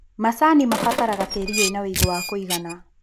Macani mabataraga tĩri wĩna wĩigũ wa kũigana.